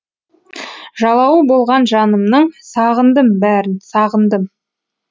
жалауы болған жанымның сағындым бәрін сағындым